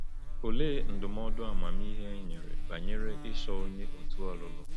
Olee ndụmọdụ amamihe e nyere banyere ịchọ onye òtù ọlụlụ?